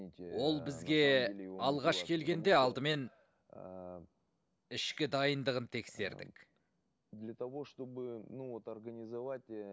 ол бізге алғаш келгенде алдымен ііі ішкі дайындығын тексердік для того чтобы ну вот организовать і